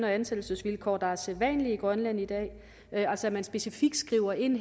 og ansættelsesvilkår der er sædvanlige i grønland i dag altså at man her specifikt skriver ind